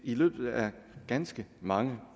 i løbet af ganske mange